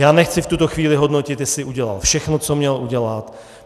Já nechci v tuto chvíli hodnotit, jestli udělal všechno, co měl udělat.